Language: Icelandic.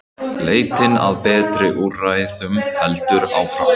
Leitin að betri úrræðum heldur áfram.